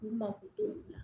U mako t'o la